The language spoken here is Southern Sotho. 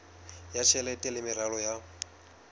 ya tjhelete le meralo ya